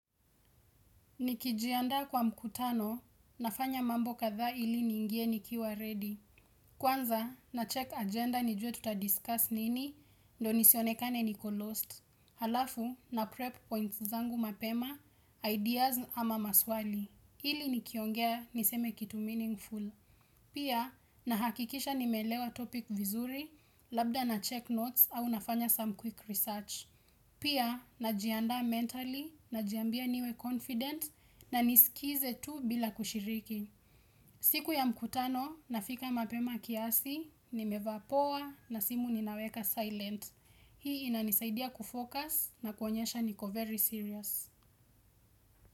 Nikijiandaa kwa mkutano nafanya mambo kathaa ili niingie nikiwa ready. Kwanza na check agenda nijue tuta discuss nini ndo nisionekane niko lost. Halafu na prep points zangu mapema, ideas ama maswali. Ili nikiongea niseme kitu meaningful. Pia na hakikisha nimeelewa topic vizuri labda na check notes au nafanya some quick research. Pia, najiandaa mentally, najiambia niwe confident na niskize tu bila kushiriki. Siku ya mkutano, nafika mapema kiasi, nimevaa poa na simu ninaweka silent. Hii inanisaidia kufocus na kuonyesha niko very serious.